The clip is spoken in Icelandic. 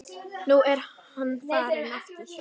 Nú er hann farinn aftur